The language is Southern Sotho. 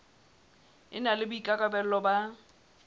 e na le boikarabelo ba